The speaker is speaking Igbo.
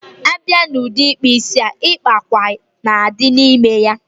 Abia n udi ikpu isi a, ịkpa ákwà na adi n ime ya